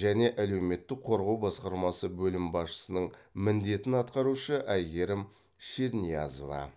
жане алеуметтік қорғау басқармасы бөлім басшысының міндетін атқарушы әйгерім шерниязова